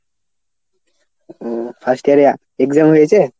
ও first year এ exam হয়েছে?